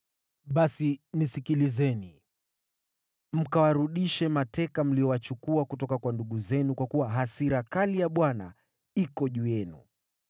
Basi nisikilizeni! Mkawarudishe mateka mliowachukua kutoka kwa ndugu zenu, kwa kuwa hasira kali ya Bwana iko juu yenu.”